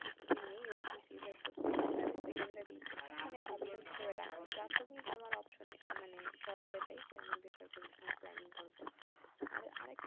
প্রস্তুতি নিও BCS এর প্রস্তুতি টা আমি secondery মানে option হিসেবে রাখি প্রাথমিক আমার অপশন মানে choice এইটাই যে আমি বেসরকারির জন্য planning করবো আর আরেকটা